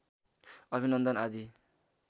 अभिनन्दन आदि